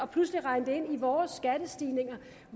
pludselig at regne det ind i vores skattestigninger